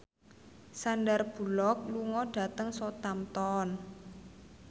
Sandar Bullock lunga dhateng Southampton